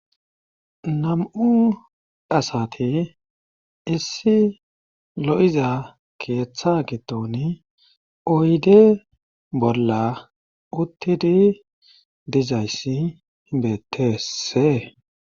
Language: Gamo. Nam7u asati issi lo7iza keeththa giddon oyde bolla uttidi dizayssi betteesse.